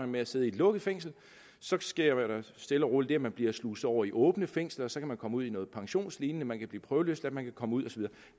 med at sidde i et lukket fængsel så sker der stille og roligt det at man bliver sluset over i åbne fængsler så kan man komme ud i noget pensionslignende man kan blive prøveløsladt man kan komme ud